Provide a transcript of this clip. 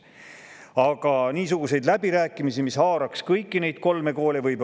Aga niisuguseid läbirääkimisi, mis haaraksid kõiki neid kolme kooli,.